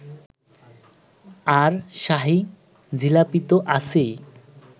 আর শাহী জিলাপিতো আছেই